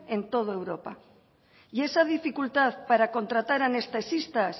en todo europa y esa dificultad para contratar anestesistas